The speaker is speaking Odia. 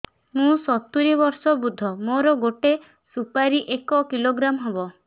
ମୁଁ ସତୂରୀ ବର୍ଷ ବୃଦ୍ଧ ମୋ ଗୋଟେ ସୁପାରି ଏକ କିଲୋଗ୍ରାମ ହେବ